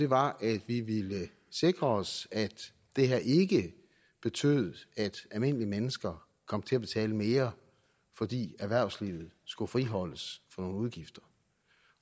var at sikre os at det her ikke betød at almindelige mennesker kom til at betale mere fordi erhvervslivet skulle friholdes for nogle udgifter